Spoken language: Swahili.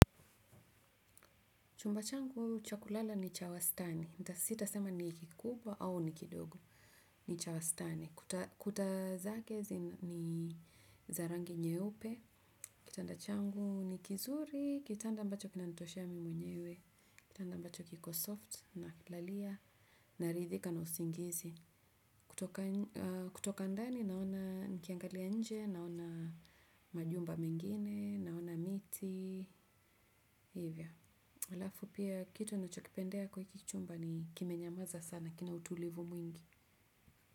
Chumba changu cha kulala ni cha wastani. Sitasita sema ni kikubwa au ni kidogo. Ni cha wastani. Kuta zake ni za rangi nyeupe. Kitanda changu ni kizuri. Kitanda ambacho kinanitosha mi mwenyewe. Kitanda ambacho kiko soft nakilalia. Naridhika na usingizi. Kutoka ndani naona nikiangalia nje. Naona majumba mingine. Naona miti. Hivyo alafu pia kitu ninachokipendea kwa hiki chumba ni kimenyamaza sana kina utulivu mwingi.